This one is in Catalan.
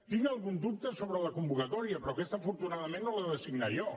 tinc algun dubte sobre la convocatòria però aquesta afortunadament no l’he de signar jo